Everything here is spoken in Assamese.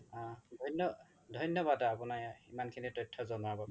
আ ধন্যবাদ আপোনি ইমান খিনি তথ্য জনোৱা বাবে